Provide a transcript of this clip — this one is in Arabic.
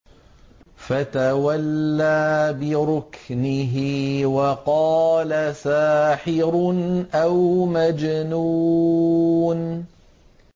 فَتَوَلَّىٰ بِرُكْنِهِ وَقَالَ سَاحِرٌ أَوْ مَجْنُونٌ